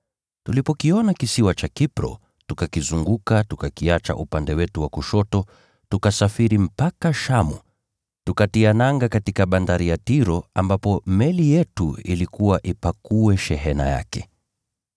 Tulipokiona kisiwa cha Kipro, tukakizunguka tukakiacha upande wetu wa kushoto, tukasafiri mpaka Shamu, tukatia nanga katika bandari ya Tiro ambapo meli yetu ilikuwa ipakue shehena yake.